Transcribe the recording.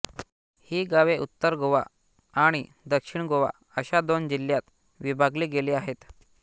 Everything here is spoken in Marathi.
ही गावे उत्तर गोवा आणि दक्षिण गोवा अशा दोन जिल्ह्यांत विभागली गेली आहेत